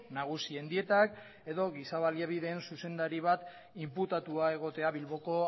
nagusien dietak edo giza baliabideen zuzendari bat inputatua egotea bilboko